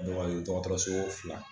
dɔgɔtɔrɔso fila